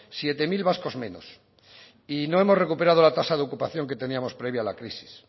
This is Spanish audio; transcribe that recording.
siete mil vascos menos y no hemos recuperado la tasa de ocupación que teníamos previa a la crisis